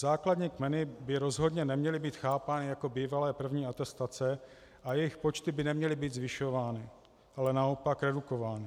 Základní kmeny by rozhodně neměly být chápány jako bývalé první atestace a jejich počty by neměly být zvyšovány, ale naopak redukovány.